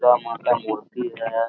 दुर्गा मां का मूर्ति है ।